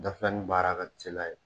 Dafilani baara ka teli a ye.